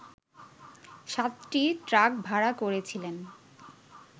সাতটি ট্রাক ভাড়া করেছিলেন